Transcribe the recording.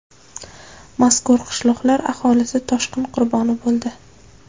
Mazkur qishloqlar aholisi toshqin qurboni bo‘ldi.